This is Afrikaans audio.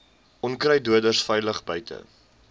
onkruiddoders veilig buite